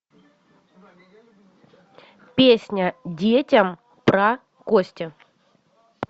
песня детям про кости